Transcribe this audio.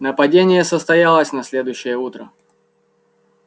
нападение состоялось на следующее утро